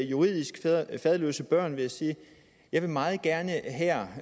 juridisk faderløse børn vil jeg sige at jeg meget gerne her